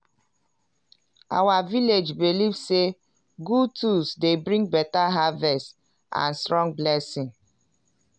our village belief say good tools dey bring beta harvest and strong blessing.